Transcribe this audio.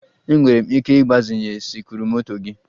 Enwere m ike ịgbazinye sikruokwomoto gị?